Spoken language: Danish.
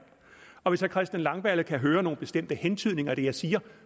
og hvis herre christian langballe kan høre nogle bestemte hentydninger i det jeg siger